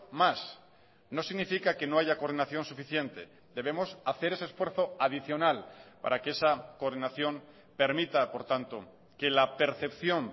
más no significa que no haya coordinación suficiente debemos hacer ese esfuerzo adicional para que esa coordinación permita por tanto que la percepción